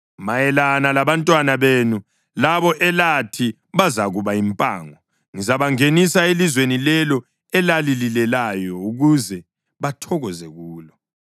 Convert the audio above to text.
Mayelana labantwana benu labo elathi bazakuba yimpango, ngizabangenisa elizweni lelo elilalileyo ukuze bathokoze kulo.